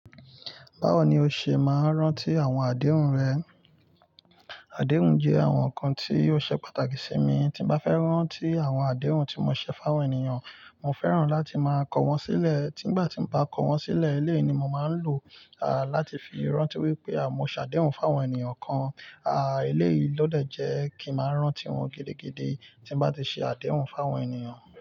Báwo ni o ṣe máa ń rántí àwọn àdéhùn rẹ? Àdéhùn jẹ́ àwọn nǹkan tí ó ṣe pàtàkì sí mi. Tí mo bá fẹ́ rántí àwọn àdéhùn tí mo ṣe fún àwọn ènìyàn, mo fẹ́ràn láti máa kọ wọ́n sílẹ̀. Tígbà tí mo bá kọ wọ́n sílẹ̀, eleyii ni mo máa ń lò láti fi rántí wípé mo ṣàdéhùn fún àwọn ènìyàn kan. À, eléyìí ló dẹ̀ jẹ́ kí máa rántí won gidigidi tí mo bá ti ṣe àdéhùn fún àwọn ènìyàn.